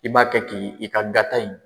I b'a kɛ k'i ka gata in.